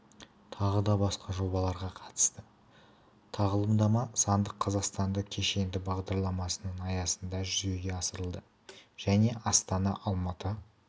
тағы басқа жобаларға қатысты тағылымдама сандық қазақстан кешенді бағдарламасының аясында жүзеге асырылды және астана алматы